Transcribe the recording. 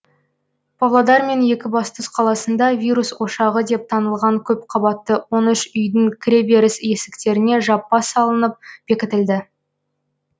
павлодар мен екібастұз қаласында вирус ошағы деп танылған көп қабатты он үш үйдің кіреберіс есіктеріне жаппа салынып бекітілді